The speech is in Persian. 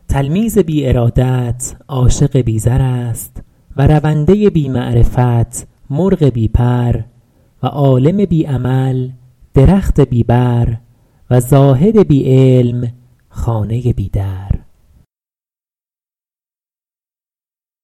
تلمیذ بی ارادت عاشق بی زر است و رونده بی معرفت مرغ بی پر و عالم بی عمل درخت بی بر و زاهد بی علم خانه بی در